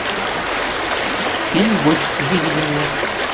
фильм гость выведи мне